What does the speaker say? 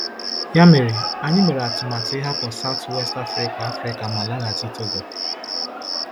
Ya mere, anyị mere atụmatụ ịhapụ South-West Africa Africa ma laghachi Togo.